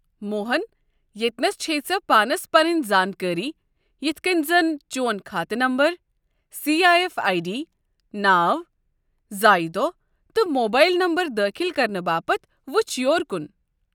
موہن، ییٚتنس چھیٚے ژےٚ پانس پنٕنۍ زانكٲری یتھ کٔنۍ زن چون كھاتہٕ number, C I F I D, ناو ، زایہ دوہ تہٕ موبایل نمبر دٲخل كرنہٕ باپتھ وٕچھ یور كُن۔